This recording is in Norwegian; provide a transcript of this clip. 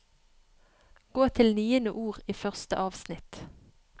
Gå til niende ord i første avsnitt